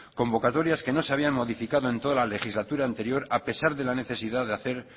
convocatorias que no se habían modificado en toda la legislatura anterior a pesar de la necesidad de hacer